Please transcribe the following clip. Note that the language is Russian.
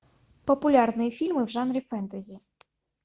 популярные фильмы в жанре фэнтези